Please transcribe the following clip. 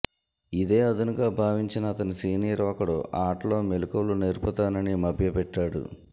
ఇదే అదునుగా భావించిన అతని సీనియర్ ఒకడు ఆటలో మెలకువలు నేర్పుతానని మభ్యపెట్టాడు